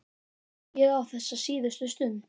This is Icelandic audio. Ég á þessa síðustu stund.